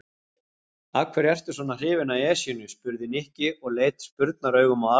Af hverju ertu svona hrifinn af Esjunni? spurði Nikki og leit spurnaraugum á Arnar.